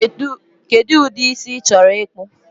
Kedu ụdị isi ichoro ịkpụ?